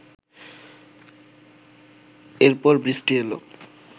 এরপর বৃষ্টি এলো